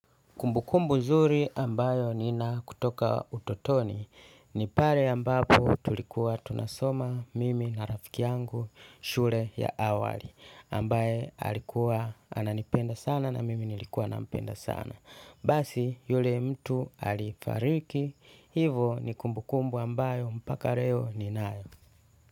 Kumbukumbu zuri ambayo nina kutoka utotoni ni pale ambapo tulikuwa tunasoma mimi na rafiki yangu shure ya awali ambaye alikuwa ananipenda sana na mimi nilikuwa nampenda sana. Basi yule mtu alifariki, hivo ni kumbukumbu ambayo mpaka reo ni nayo.